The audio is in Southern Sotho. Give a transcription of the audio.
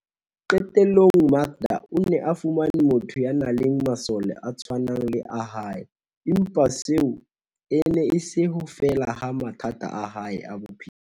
Qe tellong, Makda o ne a fumane motho ya nang le masole a tshwanang le a hae, empa seo e ne e se ho fela ha mathata a hae a bophelo.